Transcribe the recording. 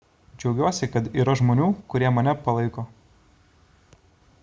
džiaugiuosi kad yra žmonių kurie mane palaiko